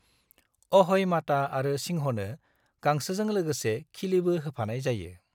अह'ई माता आरो सिंहनो गांसोजों लोगोसे खिलिबो होफानाय जायो।